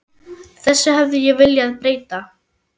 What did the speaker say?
Þessu hefði ég viljað breyta.